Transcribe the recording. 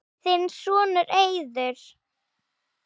Þinn sonur, Eiður.